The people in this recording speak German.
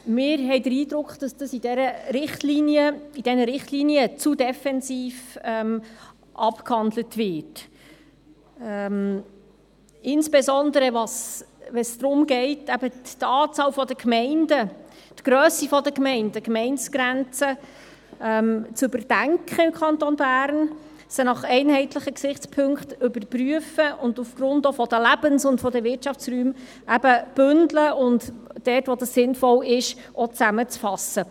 Wir haben den Eindruck, dass dieser Punkt in diesen Richtlinien zu defensiv abgehandelt wird, insbesondere wenn es darum geht, die Anzahl Gemeinden, die Grösse der Gemeinden und die Gemeindegrenzen im Kanton Bern zu überdenken, sie nach einheitlichen Gesichtspunkten zu überprüfen und aufgrund der Lebens- und Wirtschaftsräume zu bündeln und dort, wo dies sinnvoll ist, zusammenzufassen.